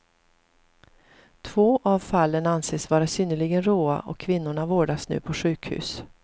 Två av fallen anses vara synnerligen råa och kvinnorna vårdas nu på sjukhus.